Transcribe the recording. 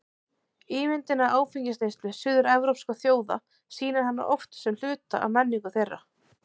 Ímyndin af áfengisneyslu suður-evrópskra þjóða sýnir hana oft sem hluta af menningu þeirra.